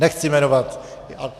Nechci jmenovat.